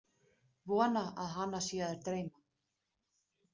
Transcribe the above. Vonar að hana sé að dreyma.